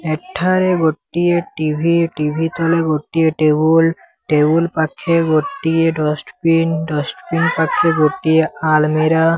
ଏଠାରେ ଗୋଟିଏ TV TV ତଳେ ଗୋଟିଏ ଟେବୁଲ ଟେବୁଲ ପାଖେ ଗୋଟିଏ ଡଷ୍ଟବିନ ଡଷ୍ଟବିନ ପାଖେ ଗୋଟିଏ ଆଲମିରା।